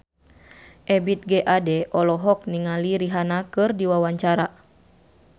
Ebith G. Ade olohok ningali Rihanna keur diwawancara